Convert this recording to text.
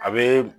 A be